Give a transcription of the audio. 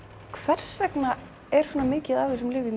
hvers vegna er svona mikið af þessum lyfjum